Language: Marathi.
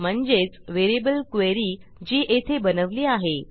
म्हणजेच व्हेरिएबल क्वेरी जी येथे बनवली आहे